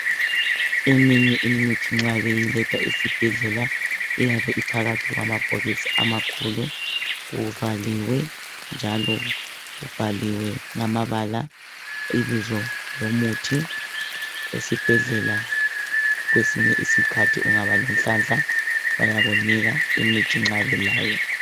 Eminye imithi nxa beyiletha esibhedlela iyabe iphakathi kwamabhokisi amakhulu kuvaliwe njalo kubhaliwe ngamabala ibizo lomuthi. Esibhedlela kwesinye isikhathi ungaba lenhlanhla bayakunika umithi nxa belayo.